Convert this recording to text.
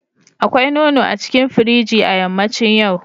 Akwai nono a cikin firiji a yammacin yau.